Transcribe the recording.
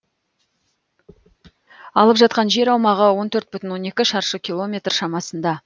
алып жатқан жер аумағы он төрт бүтін он екі шаршы километр шамасында